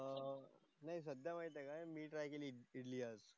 नाही सध्या माहिती आहे काय मी ट्राय केली इडली आज.